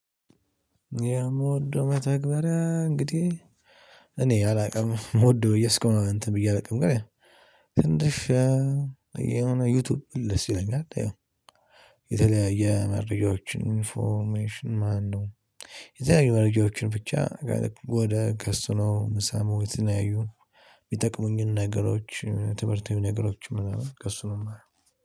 የምወደው መተግበሪያ እንግዲህ እኔ አላውቅም የምወደው እስካሁን እንትን ብዬ አላውቅም ግን ትንሽ የሆነ ዩቲዩብ ደስ ይለኛል። ይኸው የተለያየ መረጃዎችን ኢንፎርሜሽን ማነው የተለያየ መረጃዎችን ብቻ ወደ ከእሱ ነው ምሰማው። የተለያዩ ምጠቅሙኝን ነገሮች ትምህርታዊ ነገሮች ምናምን ከእሱ ነው የማየው።